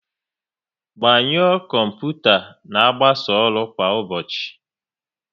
Gbanyuo kọmputa n'agbasa ọrụ kwa ụbọchị